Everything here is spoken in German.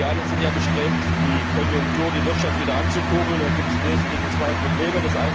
Wir alle sind ja bestrebt, die Konjunktur und die Wirtschaft wieder anzukurbeln, und da gibt es im Wesentlichen zwei Probleme.